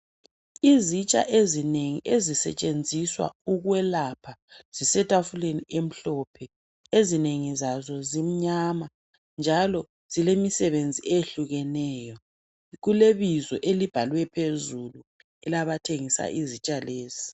Izitsha ezinengi ezisetshenziswa ukwelapha zisetafuleni emhlophe, ezinengi zazo zimnyama njalo zilemisebenzi eyehlukeneyo. Kulebizo elibhalwe phezulu elebathengisa izitsha lezi